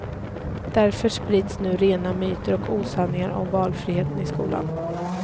Därför sprids nu rena myter och osanningar om valfriheten i skolan.